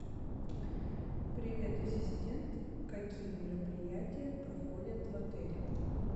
привет ассистент какие мероприятия проходят в отеле